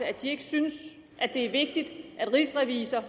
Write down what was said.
at de ikke synes det er vigtigt at rigsrevisor